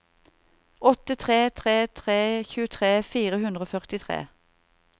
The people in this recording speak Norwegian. åtte tre tre tre tjuetre fire hundre og førtitre